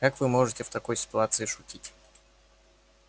как вы можете в такой ситуации шутить